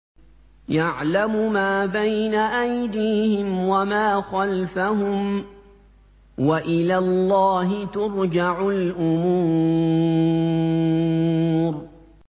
يَعْلَمُ مَا بَيْنَ أَيْدِيهِمْ وَمَا خَلْفَهُمْ ۗ وَإِلَى اللَّهِ تُرْجَعُ الْأُمُورُ